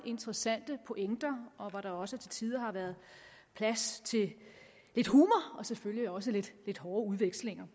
interessante pointer og hvor der også til tider har været plads til lidt humor og selvfølgelig også lidt hårde udvekslinger